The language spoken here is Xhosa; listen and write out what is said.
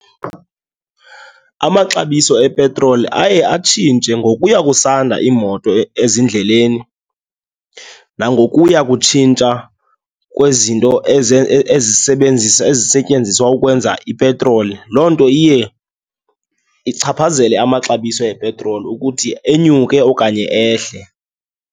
Amaxabiso epetroli aye atshintshe ngokuya kusanda iimoto ezindleleni nangokuya kutshintsha kwezinto ezisebenzisa ezisetyenziswa ukwenza ipetroli. Loo nto iye ichaphazele amaxabiso epetroli ukuthi enyuke okanye ehle.